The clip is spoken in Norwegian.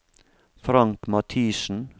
Frank Mathiesen